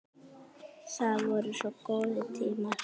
Það voru sko góðir tímar.